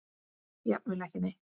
Jafnvel ekki neitt.